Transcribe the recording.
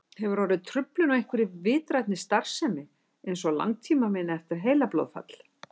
Hefur orðið truflun á einhverri vitrænni starfsemi eins og langtímaminni eftir heilablóðfall?